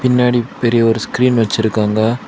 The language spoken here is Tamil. பின்னாடி பெரிய ஒரு ஸ்கிரீன் வச்சிருக்காங்க.